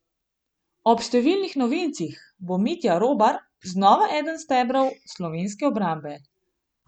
Ob številnih novincih bo Mitja Robar znova eden stebrov slovenske obrambe.